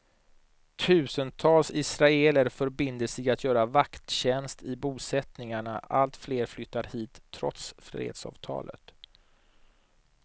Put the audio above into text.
Tusentals israeler förbinder sig att göra vakttjänst i bosättningarna, allt fler flyttar hit trots fredsavtalet.